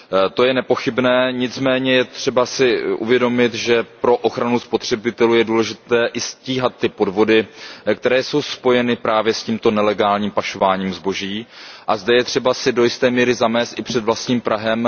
To je nepochybné, nicméně je třeba si uvědomit, že pro ochranu spotřebitelů je důležité i stíhat ty podvody, které jsou spojeny právě s tímto nelegálním pašováním zboží, a zde je třeba si do jisté míry zamést i před vlastním prahem.